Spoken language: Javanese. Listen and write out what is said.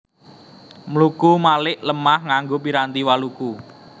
Mluku malik lemah nganggo piranti waluku